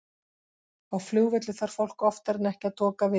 Á flugvelli þarf fólk oftar en ekki að doka við.